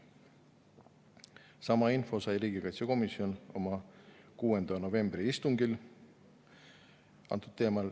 Sama info antud teemal sai riigikaitsekomisjon oma 6. novembri istungil.